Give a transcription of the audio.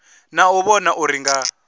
na u vhona uri nga